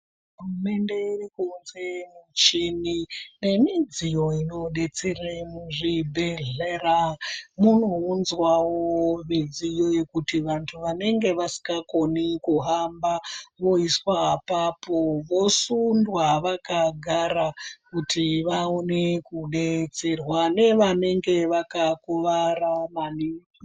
Hurumende iri kuunza michini nemidziyo inodetsera muzvibhedhlera munounzwawo midziyo yekuti vantu vanenge vasikakoni kuhamba voiswa apopo vosundwa vakagara kuti vaone kudetserwa nevanemge vakakuwara maningi.